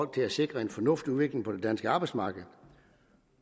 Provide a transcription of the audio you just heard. til at sikre en fornuftig udvikling på det danske arbejdsmarked